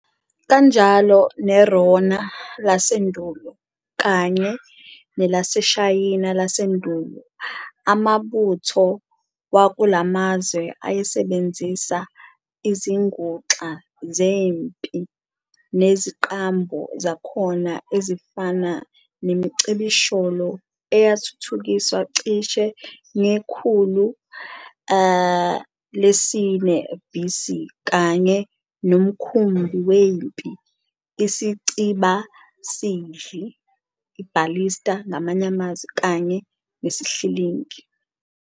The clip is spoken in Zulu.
Kanjalo neRona lasendulo, kanye nelaseShayina lasendulo, amabutho wakulamazwe ayesebenzisa izinguxa zempi neziqambo zakhona ezifana nemicibisholo eyathuthukiswa cishe ngekhulu lesi-4 BC, kanye nomkhumbi wempi, isicibasidli "ballista" kanye nesihlingi.